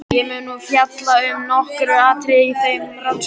Ég mun nú fjalla um nokkur atriði í þeim rannsóknum.